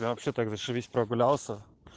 я вообще так зашибись прогулялся